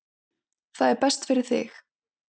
Það er best fyrir þig.